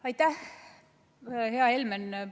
Aitäh, hea Helmen!